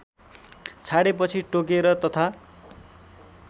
छाडेपछि टोकेर तथा